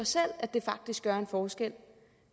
at det faktisk gør en forskel